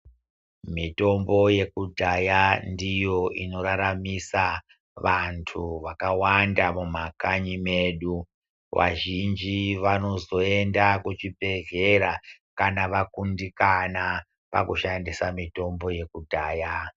Mitombo yekudhaya ndiyo inoraramisa vantu vakawanda mumakanyi medu. Vazhinji vanozoenda kuchibhehlera kana vakundikana pakushandisa mitombo yekudhaya.